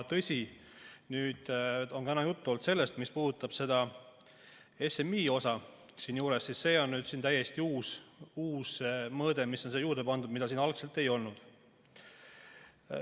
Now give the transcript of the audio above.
Tõsi, täna on juttu olnud sellest, mis puudutab seda SMI osa siin juures – see on täiesti uus mõõde, mis on siia juurde pandud ja mida siin algselt ei olnud.